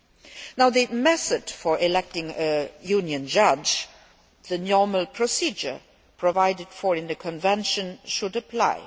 As for the method of electing a Union judge, the normal procedure provided for in the convention should apply.